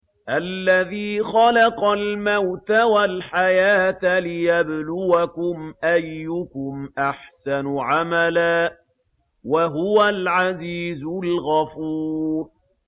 الَّذِي خَلَقَ الْمَوْتَ وَالْحَيَاةَ لِيَبْلُوَكُمْ أَيُّكُمْ أَحْسَنُ عَمَلًا ۚ وَهُوَ الْعَزِيزُ الْغَفُورُ